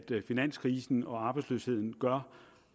finanskrisen og arbejdsløsheden gør